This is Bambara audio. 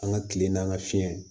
An ka tile n'an ka fiyɛ